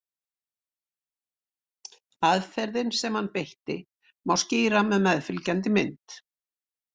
Aðferðina sem hann beitti má skýra með meðfylgjandi mynd.